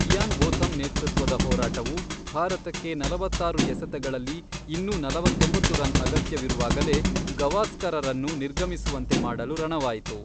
Ian Botham ನೇತೃತ್ವದ ಹೋರಾಟವು, ಭಾರತಕ್ಕೆ ನಲವತ್ತಾರು ಎಸೆತಗಳಲ್ಲಿ ಇನ್ನೂ ನಲವತ್ತೊಂಬತ್ತು ರನ್ ಅಗತ್ಯವಿರುವಾಗಲೇ ಗವಾಸ್ಕರರನ್ನು ನಿರ್ಗಮಿಸುವಂತೆ ಮಾಡಲು ರಣವಾಯಿತು.